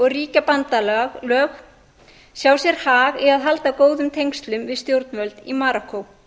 ríkjabandalög sjá sér hag í að halda góðum tengslum við stjórnvöld í marokkó